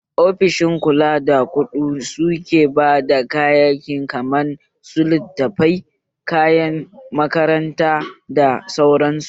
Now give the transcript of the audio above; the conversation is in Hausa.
Ofishin kula da kuɗu suke bada kayaki kaman su littafai, kayan makaranta da sauran su